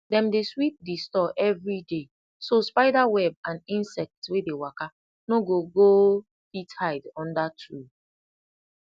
dem dey sweep di store every day so spider web and insect wey dey waka no go go fit hide under tool